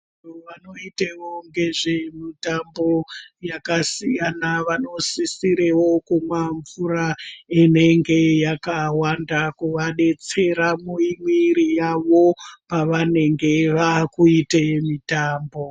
Vantu vanoitewo ngezvemutambo yakasiyana vanosisorewo kumwa mvura inenge yakawanda kuaadetsera mumwiri yawo pavanenge vakuite mitambo.